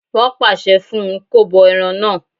Wọ́n pàṣẹ fún un kó bọ ẹran náà